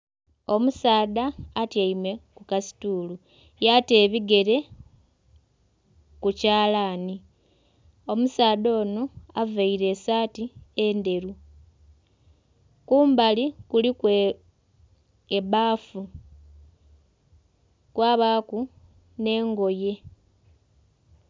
Omusaadha atyaime ku kasituulu yata ebigere ku kyalani, omusaadha onho avaire esaati endheru kumbali kuliku ebbafu kwabaku nhe engoye.